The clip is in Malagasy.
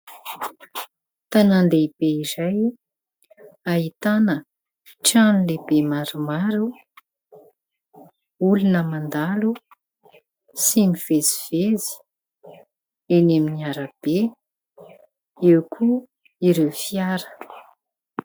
Tanàn-dehibe iray ahitana trano lehibe maromaro, olona mandalo sy mivezivezy eny amin'ny arabe. Eo koa ireo fiara.